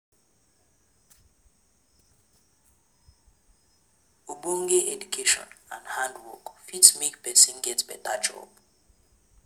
Ogbonge education and hand work fit make persin get better job